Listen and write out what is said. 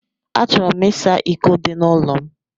Achọrọ m ịsa iko dị n'ụlọ m.